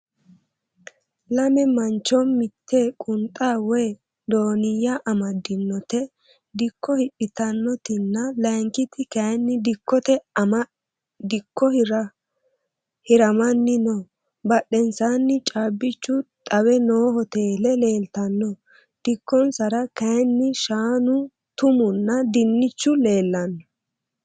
Lame mancho mitte qunxa woyi dooniyya amaddinote dikko hidhitannotinna lankiti kayinni dikkota ama dikko hiramanni no.badhensaanni caabbichu xawe noo hoteele leeltanno. Dikkosera kayinni shaanu, tumunna dinnichu leellanno.